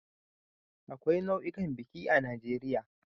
Akwai nau'ikan biki a Najeriya